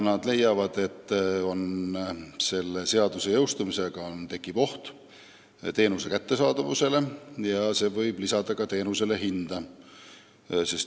Nad leiavad, et selle seaduse jõustumisega tekib teenuse kättesaadavuse vähenemise oht ja see võib lisada teenuse hinda.